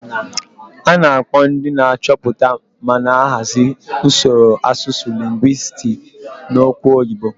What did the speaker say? A na-akpọ ndị na-achọpụta ma na-ahazi usoro asụsụ lingwisiti n'okwu oyibo.